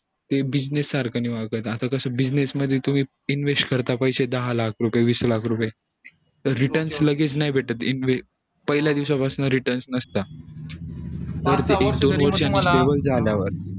business सारखं नई वागत आता कस business मध्ये तुम्ही invest मध्ये तुम्ही invest करता पैसे दहा लाख रुपये वीस लाख रुपये त return लगेच नाय भेट पहिल्या दिवसा पासन return नसत